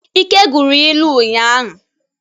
Ike gụrụ ilu ụnyanya.